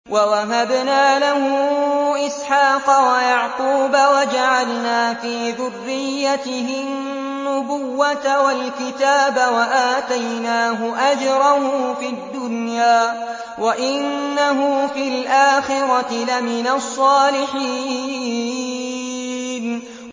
وَوَهَبْنَا لَهُ إِسْحَاقَ وَيَعْقُوبَ وَجَعَلْنَا فِي ذُرِّيَّتِهِ النُّبُوَّةَ وَالْكِتَابَ وَآتَيْنَاهُ أَجْرَهُ فِي الدُّنْيَا ۖ وَإِنَّهُ فِي الْآخِرَةِ لَمِنَ الصَّالِحِينَ